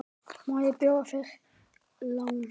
Má bjóða þér lán?